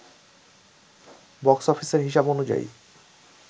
box অফিসের হিসাব অনুযায়ী